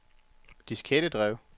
diskettedrev